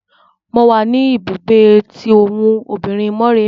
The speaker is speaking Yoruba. Mo wa ní ibùgbé tí òbinrín Mọ́remí.